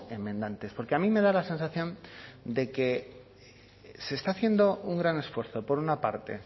enmendantes porque a mí me da la sensación de que se está haciendo un gran esfuerzo por una parte